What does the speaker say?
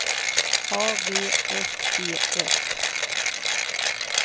A V S E S